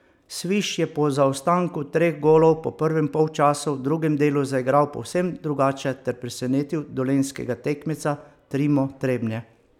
Sviš je po zaostanku treh golov po prvem polčasu v drugem delu zaigral povsem drugače ter presenetil dolenjskega tekmeca Trimo Trebnje.